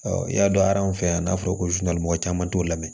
i y'a dɔn a an fɛ yan n'a fɔra ko mɔgɔ caman t'o la mɛn